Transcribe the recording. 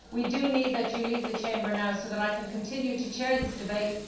We need you to leave the Chamber now so that I can continue to chair this debate.